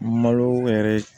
Malo yɛrɛ